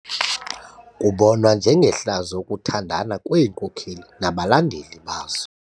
Kubonwa njengehlazo ukuthandana kweenkokeli nabalandeli bazo.